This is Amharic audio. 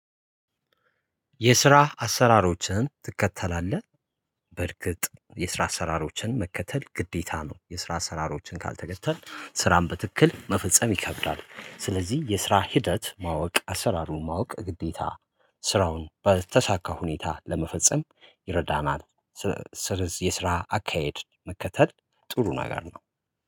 የስራ አሰራሮችን ትከተላለህ? በርግጥ የስራ አሰራሮችን መከተል ግዴታ ነው። የስራ አሰራሮችን ካልተከተል ስራን በትክክል መፈጸም ይከብዳል። ስለዚህ የስራ ሂደት ማወቅ አሠራሩን ማወቅ ግዴታ። ስራውን በተሳካ ሁኔታ ለመፈጸም ይረዳናል። ስለ ስ ስለዚህ የስራ አካሄድ መከተል ጥሩ ነገር ነው